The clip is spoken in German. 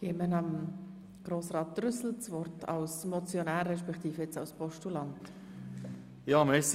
Ich erteile dem Motionär respektive jetzt dem Postulanten Grossrat Trüssel das Wort.